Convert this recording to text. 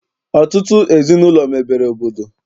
Ọtụtụ ezinaụlọ mebere obodo.